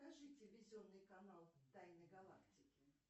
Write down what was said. покажи телевизионный канал тайны галактики